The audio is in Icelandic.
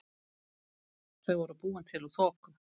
Þau voru búin til úr þoku.